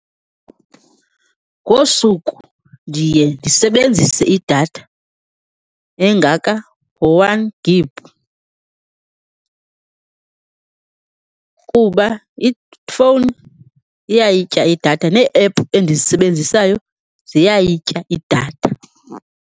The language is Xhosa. Ngosuku ndiye ndisebenzise idatha engaka ngo-one gig kuba ifowuni iyayitya idatha, nee-ephu endizisebenzisayo ziyayitya idatha.